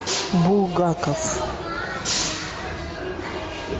булгаков